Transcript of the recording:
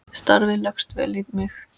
Starfið leggst vel í mig.